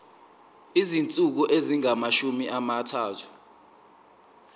izinsuku ezingamashumi amathathu